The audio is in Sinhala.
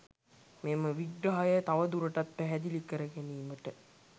මෙම විග්‍රහය තවදුරටත් පැහැදිලි කර ගැනීමට